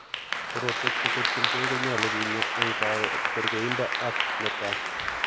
Korotwek cheketyinkee konyolu kinyaa eng' kerkendo ak netaa